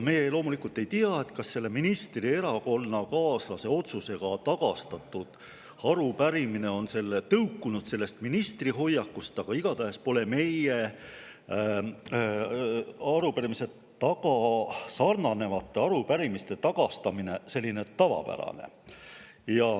Me loomulikult ei tea, kas selle ministri erakonnakaaslase otsusega tagastatud arupärimine on tõukunud sellest ministri hoiakust, aga igatahes pole meie arupärimisega sarnanevate arupärimiste tagastamine tavapärane.